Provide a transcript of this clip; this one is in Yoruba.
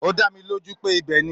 Ó dá mi lójú pé ibẹ̀ ni.